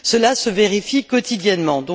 Cela se vérifie quotidiennement.